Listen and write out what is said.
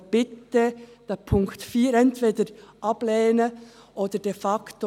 Aber lehnen Sie bitte Punkt 4 entweder ab oder de facto: